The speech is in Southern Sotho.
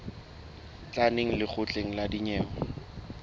tla neng lekgotleng la dinyewe